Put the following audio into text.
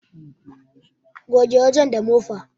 Goge wajen da mofa